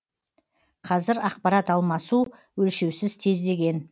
қазір ақпарат алмасу өлшеусіз тездеген